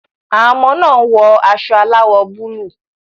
Àwọn ọmọ náà wọ aṣọ aláwọ̀ búlúù.